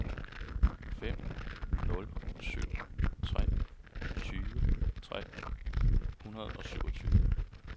fem nul syv tre tyve tre hundrede og syvogtyve